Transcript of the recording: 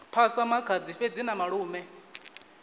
phasa makhadzi fhedzi na malume